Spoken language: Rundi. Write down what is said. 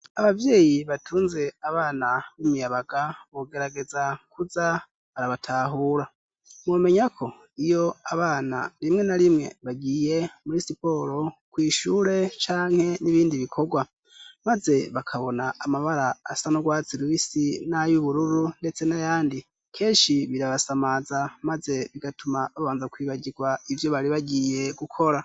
ababyeyi batunze abana b'imiyabaga bogerageza kuza barabatahura mumenyako iyo abana rimwe na rimwe bagiye muri siporo kwishure canke n'ibindi bikorwa maze bakabona amabara asanurwatsi rubisi nayubururu ndetse nayandi keshi birabasamaza maze bigatuma babanza kwibagirwa ibyo bari bagiye gukora